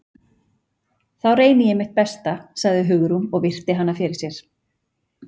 Þá reyni ég mitt besta- sagði Hugrún og virti hana fyrir sér.